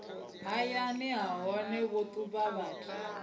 hayani nahone vho ṱuvha vhathu